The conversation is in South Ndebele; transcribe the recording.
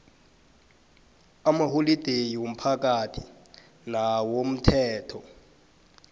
amaholideyi womphakathi nawomthetho